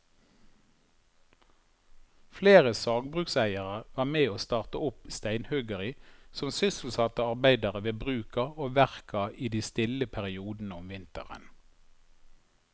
Flere sagbrukseiere var med å starte opp steinhuggeri som sysselsatte arbeidere ved bruka og verka i de stille periodene om vinteren.